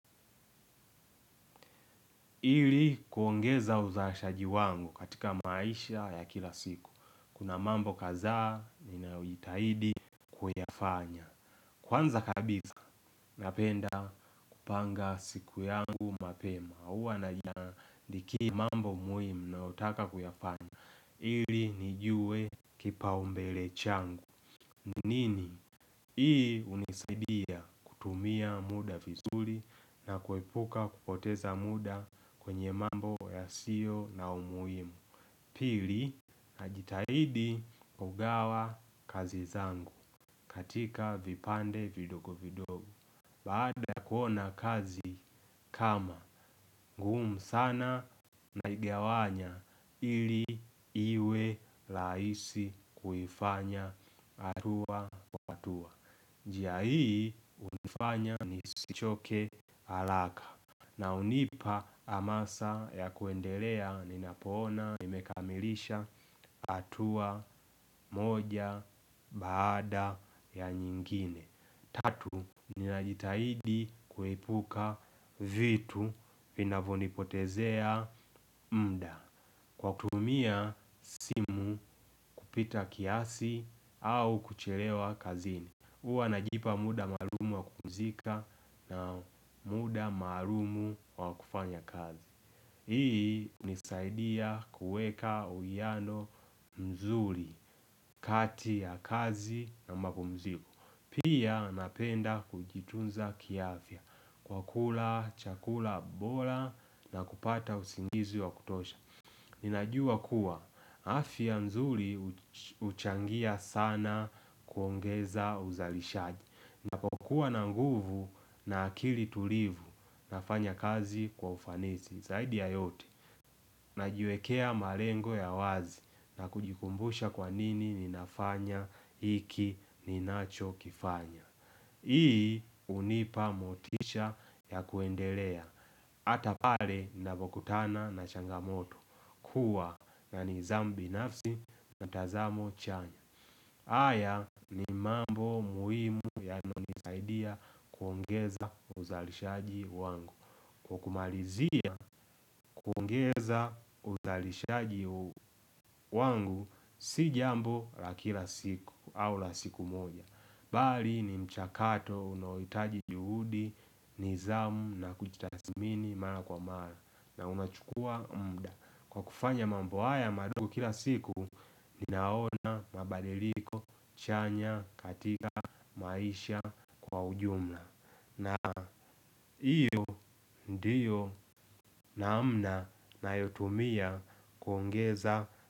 Ili kuongeza uzaashaji wangu katika maisha ya kila siku. Kuna mambo kadhaa ninayojitahidi kuyafanya. Kwanza kabisa napenda kupanga siku yangu mapema huwa naandikia mambo muhimu nayotaka kuyafanya. Ili nijue kipaumbele changu ni nini? Hii hunisaidia kutumia muda vizuri na kuepuka kupoteza muda kwenye mambo yasiyo na umuhimu. Pili najitahidi kugawa kazi zangu katika vipande vidogo vidogo. Baada ya kuona kazi kama, ngumu sana naigawanya ili iwe rahisi kuifanya hatua kwa hatua. Njia hii hunifanya nisichoke haraka. Na hunipa hamasa ya kuendelea ninapoona nimekamilisha hatua moja baada ya nyingine. Tatu, ninajitahidi kuepuka vitu vinavyonipotezea muda. Kwa kutumia simu kupita kiasi au kuchelewa kazini huwa najipa muda maalumu wa kupumzika na muda maalumu wa kufanya kazi. Hii hunisaidia kuweka uwiano mzuri kati ya kazi na mapumziko. Pia napenda kujitunza kiafya kwa kula chakula bora na kupata usingizi wa kutosha. Ninajua kuwa afya nzuri huchangia sana kuongeza uzalishaji. Napokuwa na nguvu na akili tulivu nafanya kazi kwa ufanisi zaidi ya yote. Najiwekea malengo ya wazi na kujikumbusha kwa nini ninafanya hiki ninachokifanya. Hii hunipa motisha ya kuendelea. Hata pale navokutana na changamoto. Kuwa ya nidhamu binafsi na tazamo chanya. Haya ni mambo muhimu yanayonisaidia kuongeza uzalishaji wangu. Kwa kumalizia kuongeza uzalishaji wangu si jambo la kila siku au la siku moja. Bali ni mchakato unaohitaji juhudi nidhamu na kujitathmini mara kwa mara na unachukua muda. Kwa kufanya mambo haya madogo kila siku ninaona mabadiliko chanya katika maisha kwa ujumla. Na hiyo ndiyo namna nayotumia kuongeza.